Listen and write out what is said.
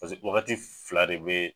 Pseke wagati fila de be yen